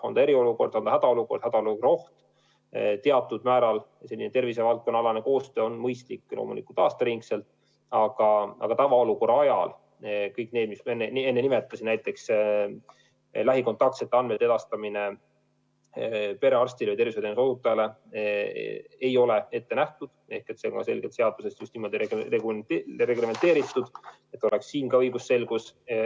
On see eriolukord, on see hädaolukorra oht – teatud määral tervisevaldkonnaalane koostöö on mõistlik loomulikult aasta ringi, aga tavaolukorra ajal kõik see, mis ma enne nimetasin, näiteks lähikontaktsete andmete edastamine perearstidele ja muudele tervishoiutööajatele ei ole selge sõnaga seaduses ette nähtud, just niimoodi reglementeeritud, et oleks siin ka õigusselgus.